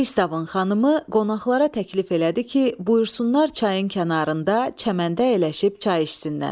Pristavın xanımı qonaqlara təklif elədi ki, buyursunlar çayın kənarında çəməndə əyləşib çay içsinlər.